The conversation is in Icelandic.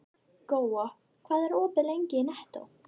Góa, hvað er opið lengi í Nettó?